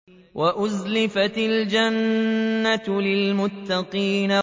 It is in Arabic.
وَأُزْلِفَتِ الْجَنَّةُ لِلْمُتَّقِينَ